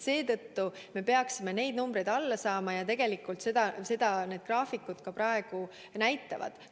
Seetõttu me peaksime neid numbreid alla saama ja tegelikult seda asjaomased graafikud praegu ka näitavad.